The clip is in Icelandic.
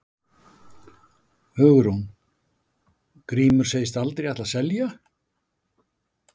Hugrún: Grímur segist aldrei ætla að selja?